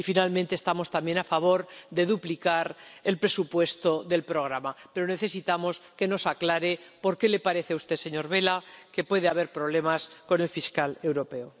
Y, finalmente, estamos también a favor de duplicar el presupuesto del Programa, pero necesitamos que nos aclare por qué le parece a usted, señor Vella, que puede haber problemas con la Fiscalía Europea.